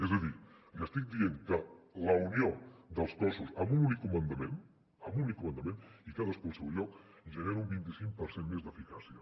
és a dir li estic dient que la unió dels cossos amb un únic comandament amb únic comandament i cadascú al seu lloc genera un vint cinc per cent més d’eficàcia